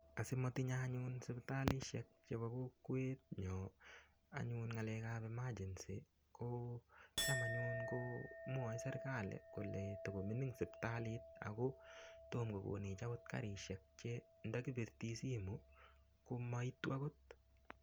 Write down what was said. Asimatinyei anyun sipitalishek chebo kokwenyo anyun ng'alekab emergency ko cham anyun ko mwoei serikali kole tikomining sipitalit ako tomo kokonech akot karishek che ndakipirti simu komaitu akot